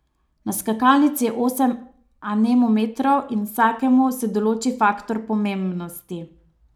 Na skakalnici je osem anemometrov in vsakemu se določi faktor pomembnosti.